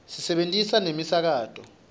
sisebentisa nemisakato